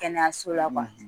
Kɛnɛyaso la kuwa